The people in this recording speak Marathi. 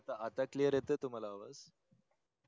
आता CLEAR येतंय तुम्हाला आवाज